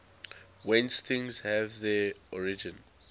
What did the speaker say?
whence things have their origin